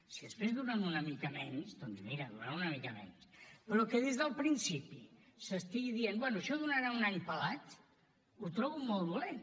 si després duren una mica menys doncs mira duren una mica menys però que des del principi s’estigui dient bé això durarà un any pelat ho trobo molt dolent